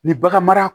Ni bagan mara